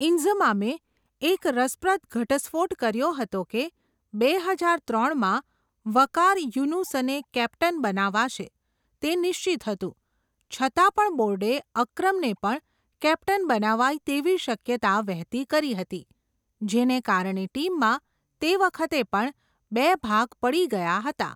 ઈન્ઝમામે, એક રસપ્રદ ઘટસ્ફોટ કર્યો હતો કે, બે હજાર ત્રણ માં, વકાર યુનુસને કેપ્ટન બનાવાશે, તે નિશ્ચિત હતું, છતાં પણ બોર્ડે, અક્રમને પણ, કેપ્ટન બનાવાય તેવી શક્યતા વેહેતી કરી હતી, જેને કારણે ટીમમાં, તે વખતે પણ બે ભાગ પડી ગયા હતા.